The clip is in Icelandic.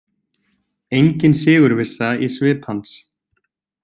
Engin sigurvissa í svip hans.